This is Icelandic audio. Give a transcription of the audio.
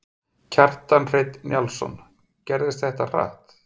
Kjartan Hreinn Njálsson: Gerðist þetta hratt?